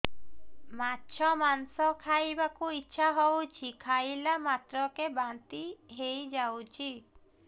ମାଛ ମାଂସ ଖାଇ ବାକୁ ଇଚ୍ଛା ହଉଛି ଖାଇଲା ମାତ୍ରକେ ବାନ୍ତି ହେଇଯାଉଛି